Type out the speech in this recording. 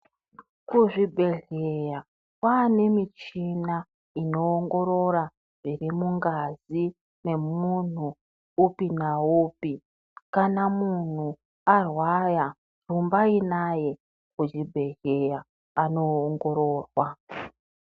Kuzvibhedhleya kwanemuchina inowongorora zvirimungazi nemuhnu upi na upi. Kana munhu arwaya wumbayinaye kuzvibhedhleya aniwongororwa.